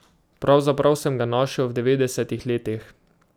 Pravzaprav sem ga našel v devetdesetih letih.